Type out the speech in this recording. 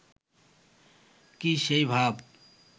কি সেই ভাব